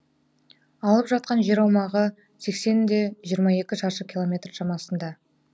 алып жатқан жер аумағы сексен де жиырма екі шаршы километр шамасында